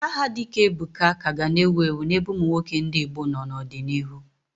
Aha dịka Ebuka ka ga na-ewu ewu n'ebe ụmụ nwoke ndị Igbo nọ n'ọdịnihu.